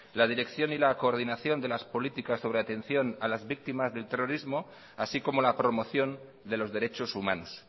la dirección y la coordinación de las políticas sobre la atención a la víctimas del terrorismo así como la promoción de los derechos humanos